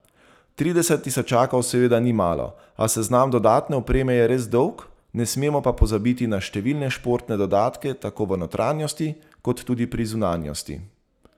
Trideset tisočakov seveda ni malo, a seznam dodatne opreme je res dolg, ne smemo pa pozabiti na številne športne dodatke tako v notranjosti kot tudi pri zunanjosti.